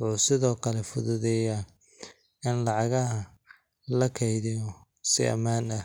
wuxuu sidoo kale fududeeyaa in lacagaha la kaydiyo si ammaan ah.